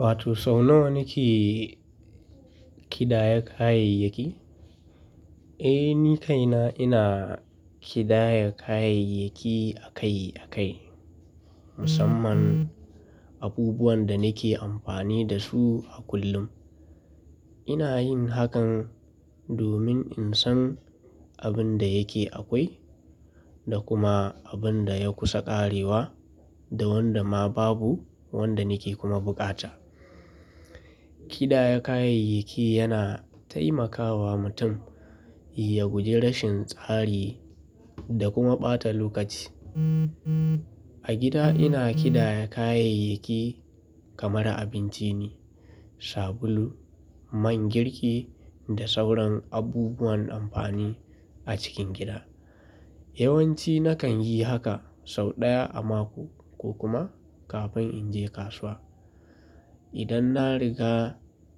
Wato sau nawa kike kidaya kayayyaki? Eh, ni kaina ina kidaya kayayyaki akai akai, musamman abubuwan da nake amfani da su a kullum. Ina yin hakan domin in san abin da yake akwai da kuma abin da ya kusa ƙarewa da wanda ma babu wanda nake kuma buƙata. Kidaya kayayyaki yana taimakawa mutum ya guji rashin tsari da kuma ɓata lokaci. A gida ina kidaya kayayyaki kamar abinci ne, sabulu, man girki da sauran abubuwan amfani a cikin gida. Yawanci nakan yi haka sau ɗaya a mako ko kuma kafin in je kasuwa. Idan na riga